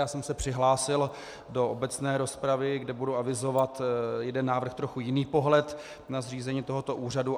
Já jsem se přihlásil do obecné rozpravy, kde budu avizovat jeden návrh, trochu jiný pohled na zřízení tohoto úřadu.